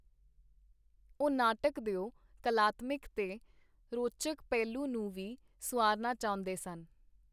ਉਹ ਨਾਟਕ ਦਿਓ ਕਲਾਤਮਿਕ ਤੇ ਰੌਚਕ ਪਹਿਲੂ ਨੂੰ ਵੀ ਸੁਆਰਨਾ ਚਾਹੁੰਦੇ ਸਨ.